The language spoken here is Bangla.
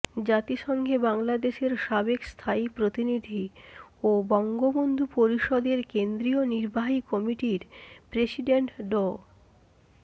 জাতিসংঘে বাংলাদেশের সাবেক স্থায়ী প্রতিনিধি ও বঙ্গবন্ধু পরিষদের কেন্দ্রীয় নির্বাহী কমিটির প্রেসিডেন্ট ড